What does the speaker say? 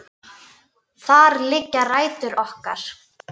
Þar liggja rætur okkar.